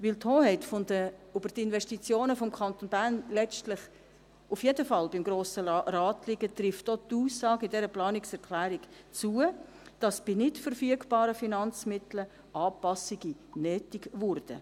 Da die Hoheit über die Investitionen des Kantons Bern letztlich auf jeden Fall beim Grossen Rat liegt, trifft auch die Aussage in dieser Planungserklärung zu, dass bei nicht verfügbaren Finanzmitteln Anpassungen nötig würden.